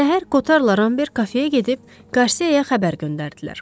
Səhər Qotarla Ramber kafeyə gedib, Qarsiyaya xəbər göndərdilər.